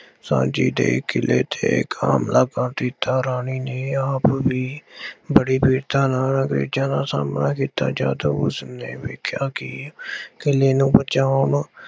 ਝਾਂਸੀ ਦੇ ਕਿਲ੍ਹੇ ਤੇ ਇੱਕ ਹਮਲਾ ਕਰ ਦਿੱਤਾ। ਰਾਣੀ ਨੇ ਆਪ ਵੀ ਬੜੀ ਵੀਰਤਾ ਨਾਲ ਅੰਗਰੇਜ਼ਾਂ ਦਾ ਸਾਹਮਣਾ ਕੀਤਾ। ਜਦ ਉਸਨੇ ਵੇਖਿਆ ਕਿ ਕਿਲ੍ਹੇ ਨੂੰ ਬਚਾਉਣ